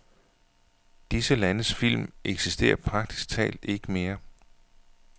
Disse landes film eksisterer praktisk talt ikke mere.